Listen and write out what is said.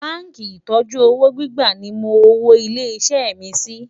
bánkì ìtọjú òwò gbígbà ní mó òwò ilé ìwé mí Si